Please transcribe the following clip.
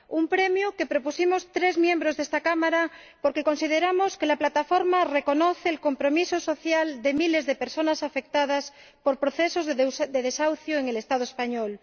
Un premio que propusimos tres miembros de esta Cámara porque consideramos que la Plataforma reconoce el compromiso social de miles de personas afectadas por procesos de desahucio en el Estado español.